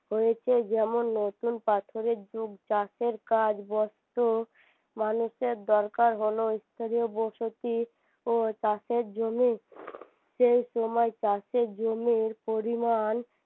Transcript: হয়েছে যেমন নতুন পাথরের যুগ চাষের কাজ বস্ত মানুষের দরকার হলো স্থানীয় বসতি ও চাষের জমি সেই সময় চাষের জমির পরিমান